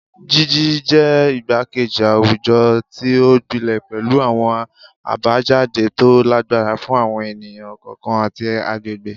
Jiji jẹ igbakeji awujọ ti o gbilẹ pẹlu awọn abajade to lagbara fun awọn eniyan kọọkan ati agbegbe.